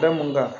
Da mun kan